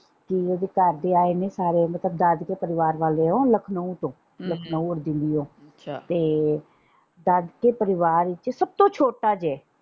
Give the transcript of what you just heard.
ਕਿ ਦਾਦਕੇ ਆਏ ਨੇ ਸਾਰੇ ਦਾਦਕੇ ਪਰਿਵਾਰ ਵਾਲੇ ਓ ਲਖਨਊ ਤੋਂ ਲਖਨਊ ਦਿੱਲੀਓਂ ਤੇ ਦਾਦਕੇ ਪਰਿਵਾਰ ਵਿੱਚ ਸਬ ਤੋਂ ਛੋਟਾ ਜੇ।